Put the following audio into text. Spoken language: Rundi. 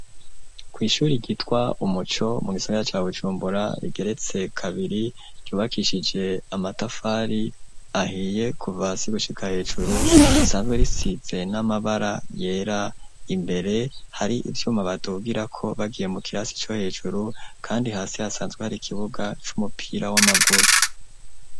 Kw'ishuri ryitwa umuco, mu gisagara ca Bujumbura, rigeretse kabiri ryubakishije amatafari ahiye kuva hasi gushika hejuru, risanzwe risize n'amabara yera, imbere hari ivyuma badugirako bagiye mu kirasi co hejuru, kandi hasi hasanzwe hari ikibuga c'umupira w'amaguru.